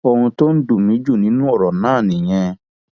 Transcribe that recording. ohun tó dùn mí jù nínú ọrọ náà nìyẹn